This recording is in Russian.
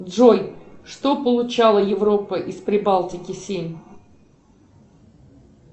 джой что получала европа из прибалтики семь